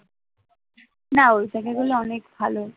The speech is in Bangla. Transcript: না ঐখানে গেলে অনেক ভালো